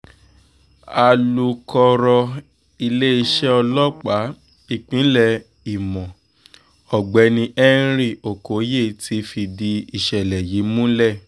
alūkọ̀rọ̀ iléeṣẹ́ ọlọ́pàá ìpínlẹ̀ ìmọ̀ ọ̀gbẹ́ni henry okoye ti fìdí ìṣẹ̀lẹ̀ yìí múlẹ̀